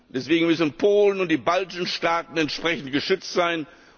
Deswegen müssen Polen und die baltischen Staaten entsprechend geschützt sein.